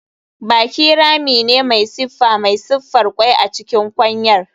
Baki rami ne mai siffa mai siffar kwai a cikin kwanyar.